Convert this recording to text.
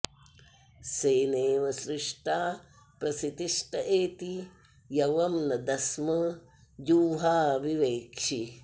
सेनेव सृष्टा प्रसितिष्ट एति यवं न दस्म जुह्वा विवेक्षि